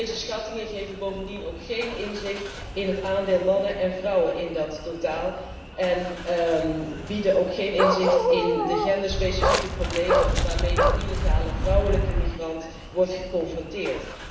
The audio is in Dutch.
Deze schattingen geven bovendien geen inzicht in het aandeel mannen en vrouwen in dat totaal en bieden ook geen inzicht in de genderspecifieke problemen waarmee illegale vrouwelijke migranten worden geconfronteerd.